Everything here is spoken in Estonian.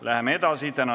Läheme edasi!